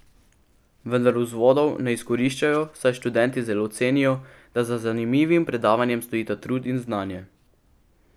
Vendar vzvodov ne izkoriščajo, saj študenti zelo cenijo, da za zanimivim predavanjem stojita trud in znanje.